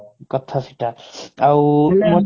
କଥା ସେଇଟା ଆଉ